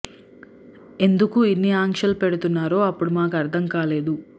ఎందుకు ఇన్ని ఆంక్షలు పెడుతున్నారో అప్పుడు మాకు అర్థం కాలేదు